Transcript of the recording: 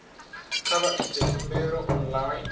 kha vha ite khumbelo online